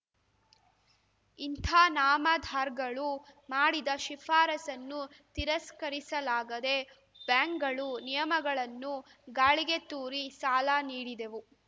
ಇಂಥ ನಾಮದಾರ್‌ಗಳು ಮಾಡಿದ ಶಿಫಾರಸನ್ನು ತಿರಸ್ಕರಿಸಲಾಗದೇ ಬ್ಯಾಂಕ್‌ಗಳು ನಿಯಮಗಳನ್ನು ಗಾಳಿಗೆ ತೂರಿ ಸಾಲ ನೀಡಿದೆವು